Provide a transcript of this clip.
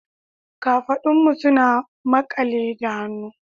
Kafadunmu suna makale da hannu